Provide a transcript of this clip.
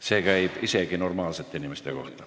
See käib isegi normaalsete inimeste kohta.